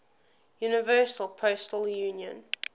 universal postal union